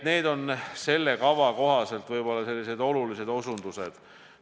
Need on selle kava kohaselt sellised olulised aspektid.